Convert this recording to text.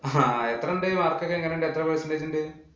ആഹ് അഹ് എത്രണ്ട്? mark ഒക്കെ എങ്ങനെ ഉണ്ട്? എത്ര percentage ഉണ്ട്?